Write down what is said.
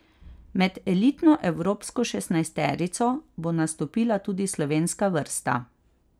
Med elitno evropsko šestnajsterico bo nastopila tudi slovenska vrsta.